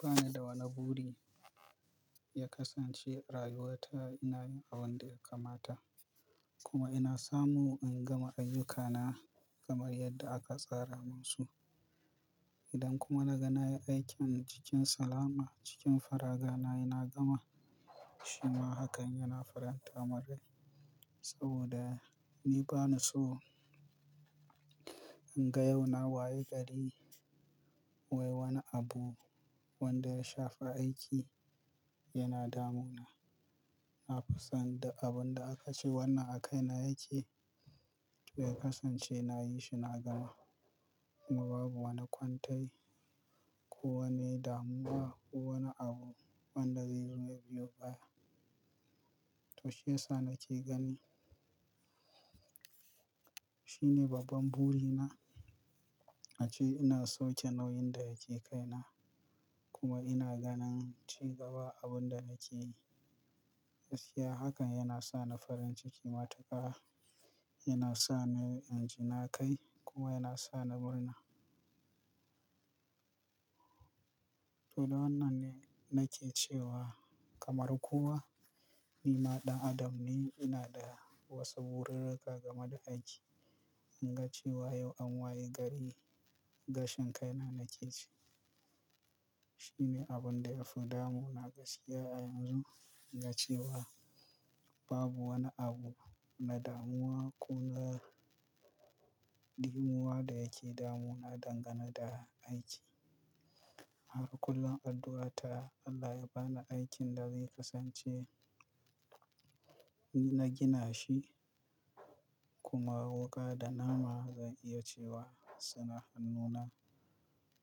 Bani da wane buri ya kasance rayuwata ina yin abin da ya kamata kuma ina samu in gama ayyukana kamar yadda aka tsara musu. Idan kuma naga na yi aikin cikin salama, cikin faraga na ina gama shi ma hakan yana faranta mun rai saboda ni bani so in ga yau na waye gari. Wai wani abu wanda ya shafa aiki yana damuna. Na fi son da abun da aka ce wannan a kaina yake ya kasance nayi shi na gama kuma babu wanda kwantai ko wane damuwa ko wane abu wanda zai zo ya biyo baya. To shiyasa nake gani shine babban burina ace ina so ke nauyin da yake kaina kuma ina ganin ci gaba abun da nake yi. Gaskiya hakan yana sa ni farin ciki matuƙa, yana sa ni inji na kai kuma yana sa ni murna. To da wannan ne nake cewa kamar kowa ni ma ɗan adam ne, ina da wasu burirruka game da aiki. In ga cewa yau an waye gari, gashen kaina nake ci. Shine abun da ya fi damuna gaskiya a yanzu. In ga cewa babu wani abu na damuwa ko na ɗimuwa da yake damuna dangane da aiki. Haka kullum addu'ata Allah ya bani aikin da zai kasance na gina shi kuma wuƙa da nama zan iya cewa suna hannuna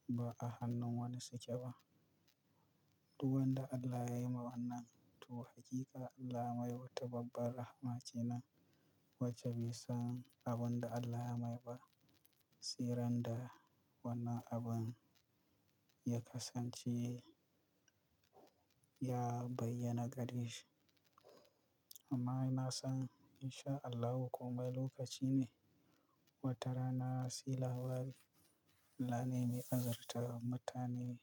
ba a hannun wani sake ba. To wanda Allah yayi ma wannan, to hakika Allah mai wuta, babbar rahama kenan. Wacce bai san abin da Allah ya mai ba. Sirran da wannan abun ya kasance ya bayyana gare shi. Amma ina son insha Allahu komai lokaci ne wata rana sai labari Allah ne mai azartar mutane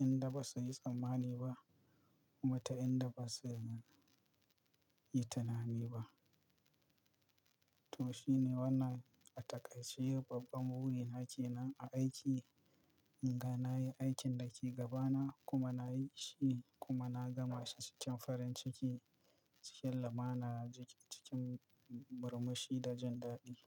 inda ba su yi tsammani ba kuma ta inda ba su yi tunani ba. To shine wannan a takaice babban burin hakina a aiki in ga na yi aikin da ke gabana kuma na yi shi kuma na gama shi cikin farin ciki, cikin lamana, cikin murmushi da jan dadi.